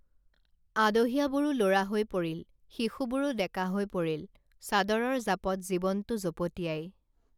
আদহীয়াবোৰো লৰা হৈ পৰিল শিশুবোৰো ডেকা হৈ পৰিল চাদৰৰ জাপত জীৱনটো জপতীয়াই